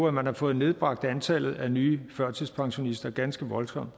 at man har fået nedbragt antallet af nye førtidspensionister ganske voldsomt